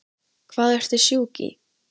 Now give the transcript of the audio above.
Hvað ertu sjúk í?